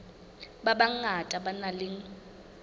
ba bangata ba nang le